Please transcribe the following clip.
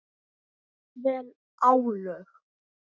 Jafnvel álög.